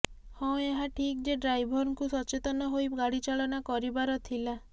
ହଁ ଏହା ଠିକ୍ ଯେ ଡ୍ରାଇଭରଙ୍କୁ ସଚେତନ ହୋଇ ଗାଡିଚାଳନା କରିବାର ଥିଲା